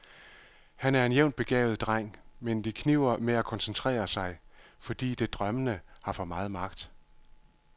Han er en jævnt begavet dreng, men det kniber med at koncentrere sig, fordi det drømmende har for meget magt.